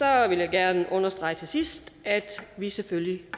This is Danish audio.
jeg gerne understrege til sidst at vi selvfølgelig